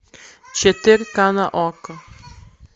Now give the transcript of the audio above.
четырка на окко